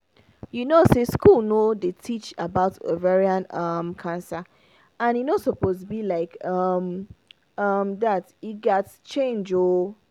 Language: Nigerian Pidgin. you know say school no dey teach about ovarian um cancer and e no suppose be like um um that e gat change ooo